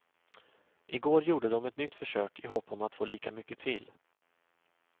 I går gjorde de ett nytt försök, i hopp om att få lika mycket till.